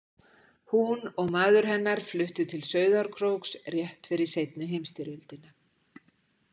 Hún og maður hennar fluttu til Sauðárkróks rétt fyrir seinni heimsstyrjöldina.